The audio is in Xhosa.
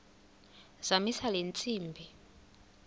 zamisa le ntsimbi